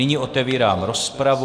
Nyní otevírám rozpravu.